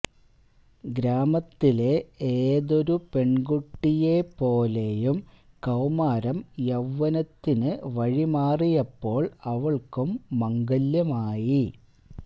ഗ്രാമത്തിലെ ഏതൊരു പെണ്കുട്ടിയെ പോലെയും കൌമാരം യൌവനത്തിനു വഴിമാറിയപ്പോള് അവള്ക്കും മംഗല്യമായി